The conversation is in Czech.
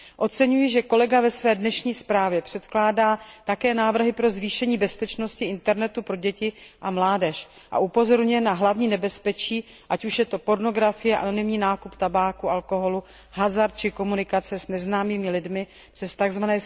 Oceňuji, že kolega ve své dnešní zprávě předkládá také návrhy pro zvýšení bezpečnosti internetu pro děti a mládež a upozorňuje na hlavní nebezpečí, ať už je to pornografie, anonymní nákup tabáku, alkoholu, hazard či komunikace s neznámými lidmi přes tzv.